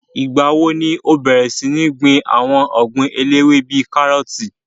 Ìgbà wo ni ó bẹ̀rẹ̀ sí ní gbin àwọn ogbin eléwé bíi kárọ̀tì